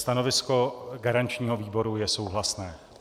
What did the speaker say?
Stanovisko garančního výboru je souhlasné.